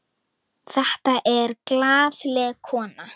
Þetta er glaðleg kona.